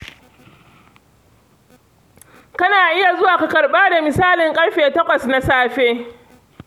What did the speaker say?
Kana iya zuwa ka karɓa da misalin ƙarfe takwas na safe.